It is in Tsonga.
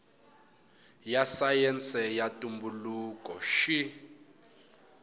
ya sayense ya ntumbuluko xi